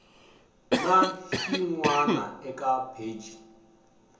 na xin wana eka pheji